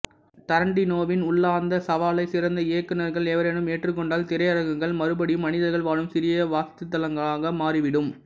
டரான்டினோவின் உள்ளார்ந்த சவாலை சிறந்த இயக்குனர்கள் எவரேனும் ஏற்றுக்கொண்டால் திரையரங்குகள் மறுபடியும் மனிதர்கள் வாழும் சீரிய வாசஸ்தலங்களாக மாறிவிடும்